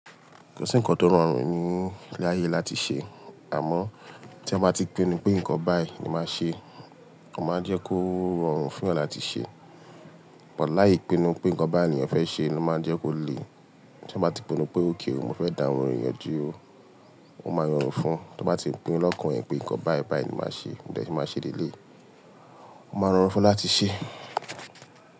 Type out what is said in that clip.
Kò sí ǹkan tó rọrùn ní ilé ayé láti ṣe àmọ́ tí wọ́n bá ti pinnu pé nǹkan báyìí ni máa ṣe, wọ́n máa ń jẹ́ kó rọrùn fún ẹ́ láti ṣe. But láì pinú pé ǹkan bái ni ènìyàn fẹ́ ṣe ló máa ń jẹ́ kó le. Tí eeyan bá ti pinnu pé óké o, mo fẹ́ dà orin yen duro, ó máa rọrùn fún un. Tí wọ́n bá ti pinnu lọ́kàn ẹ́ pé ǹkan báyìí báyìí ni màá ṣe nígbà tí màá ṣe dé ni eléyi, ó máa rọrùn fún ẹ láti ṣe.